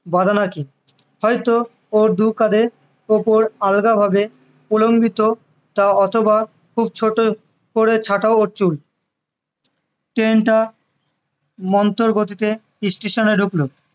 বাঁধা না কি হয়তো ও দু কাঁধের ওপর আলগা ভাবে কুলম্বিত তা অথবা খুব ছোট করে ছাঁটা ওর চুল train টা মন্তর গতিতে station এ ঢুকলো